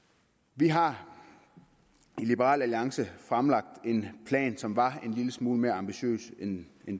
vi har i liberal alliance fremlagt en plan som var en lille smule mere ambitiøs end